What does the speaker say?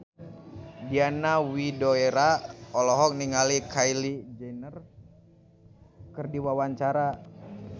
Diana Widoera olohok ningali Kylie Jenner keur diwawancara